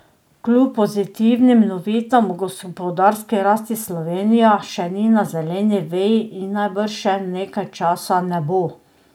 Kljub pozitivnim novicam o gospodarski rasti Slovenija še ni na zeleni veji in najbrž še nekaj časa ne bo.